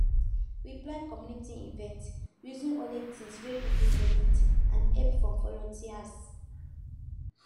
we plan community event using only things wey people donate and help from volunteers